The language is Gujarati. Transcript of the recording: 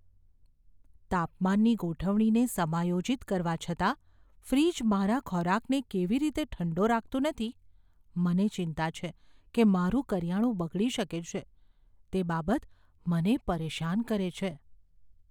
તાપમાનની ગોઠવણીને સમાયોજિત કરવા છતાં ફ્રિજ મારા ખોરાકને કેવી રીતે ઠંડો રાખતું નથી મને ચિંતા છે કે મારું કરિયાણું બગડી શકે છે, તે બાબત મને પરેશાન કરે છે.